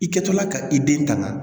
I kɛtɔla ka i den tanga